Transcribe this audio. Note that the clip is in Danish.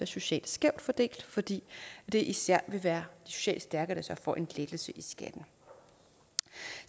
socialt skævt fordelt fordi det især vil være socialt stærke der så får en lettelse i skatten